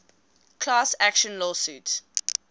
class action lawsuit